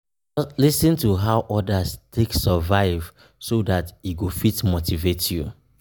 Lis ten to how others take survive so that e go fit motivate you